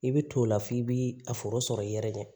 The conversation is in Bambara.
I bɛ t'o la f'i bi a foro sɔrɔ i yɛrɛ de